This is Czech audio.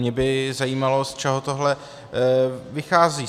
Mě by zajímalo, z čeho tohle vychází.